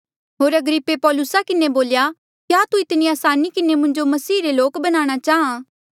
होर अग्रिप्पे पौलुसा किन्हें बोल्या क्या तू इतनी असानी किन्हें मुंजो मसीहा रे लोक बणाणा चाहां